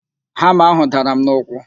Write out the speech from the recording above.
Hama ahụ dara m n'ụkwụ